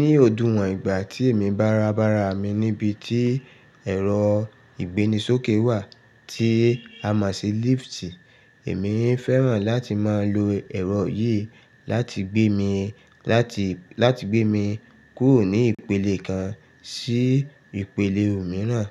Ní òdún wọ̀n ìgbà tí èmi bá ra bara mi níbi tí ẹ̀rọ ìgbéni sókè wà tí a máa ń ṣé lift, èmi fẹ́ràn láti máa lo ẹ̀rọ yìí láti gbé mi, láti, láti gbé mi kúrò ní ìpele kan sí ìpele mìíràn.